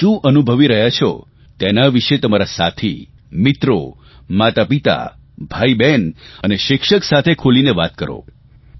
તમે શું અનુભવી રહ્યાં છો તેના વિશે તમારા સાથી મિત્રો માતાપિતા ભાઇબહેન અને શિક્ષક સાથે ખુલીને વાત કરો